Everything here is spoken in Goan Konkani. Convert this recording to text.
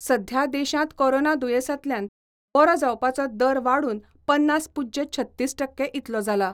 सध्या देशांत कोरोना दुयेंसांतल्यान बरो जावपाचो दर वाडून पन्नास पूज्य छत्तीस टक्के इतलो जाला.